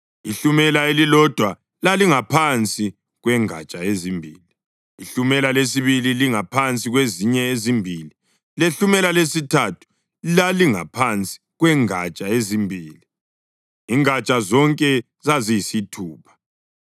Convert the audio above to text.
Ihlumela elilodwa lalingaphansi kwengatsha ezimbili, ihlumela lesibili lingaphansi kwezinye ezimbili lehlumela lesithathu lalingaphansi kwengatsha ezimbili, ingatsha zonke zaziyisithupha.